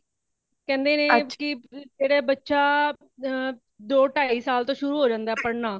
ਕੇਂਦੇ ਨੇ ਜੇੜ੍ਹਾ ਬੱਚਾ ਦੋ ਢਾਈ ਸਾਲ ਤੋਂ ਸ਼ੁਰੂ ਹੋ ਜਾਂਦਾ ਹੈ ਪੜ੍ਹਨਾ |